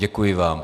Děkuji vám.